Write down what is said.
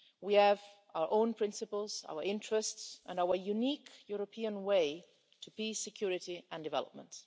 We have our own principles, our interests and our unique European way to peace, security and development.